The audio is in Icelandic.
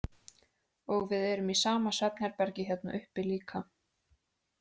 Og við erum í sama svefnherbergi hérna uppi líka.